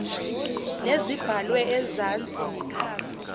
nezibhalwe ezansi nekhasi